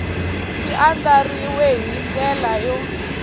xi andlariwile hi ndlela yo